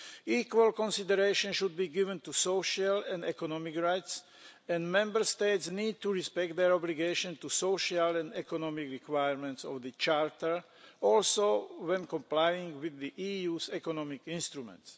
Equal consideration should be given to social and economic rights and Member States need to respect their obligation to the social and economic requirements of the Charter, also when complying with the EU's economic instruments.